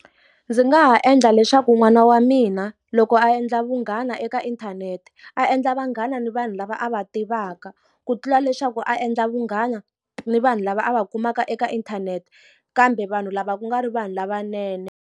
Ndzi nga ha endla leswaku n'wana wa mina loko a endla vunghana eka inthanete, a endla vanghana ni vanhu lava a va tivaka. Ku tlula leswaku a endla vunghana ni vanhu lava a va kumaka eka inthanete, kambe vanhu lava ku nga ri vanhu lavanene.